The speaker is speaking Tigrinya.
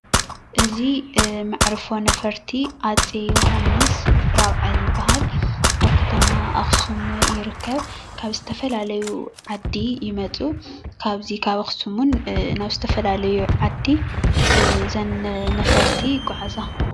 እዚ መዕርፎ ነፈርቲ አፄ ዮሓንስ ራብዓይ ይበሃል። ኣብ ከተማ ኣክሱም ይርከብ ።ካብ ዝተፈላለዩ ዓዲ ይመፁ ካብዚ ካብ ኣክሱም እውን ናብ ዝተፈላለዩ ዓዲ እዘን ነፈርቲ የጓዕዛ::